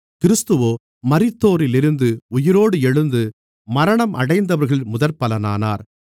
கிறிஸ்துவோ மரித்தோரிலிருந்து உயிரோடு எழுந்து மரணமடைந்தவர்களில் முதற்பலனானார்